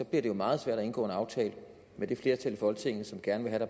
det jo meget svært at indgå en aftale med det flertal i folketinget som gerne